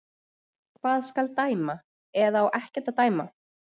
Hvað skal dæma, eða á ekkert að dæma?